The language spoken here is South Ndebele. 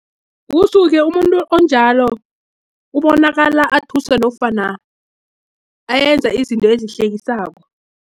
Kusuke umuntu onjalo, ubonakala athusa, nofana ayenza izinto ezihlekisako.